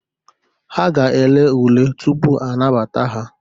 Ha ga-ele ule tupu a nabata ha.